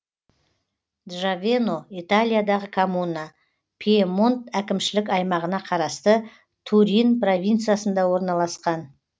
джавено италиядағы коммуна пьемонт әкімшілік аймағына қарасты турин провинциясында орналасқан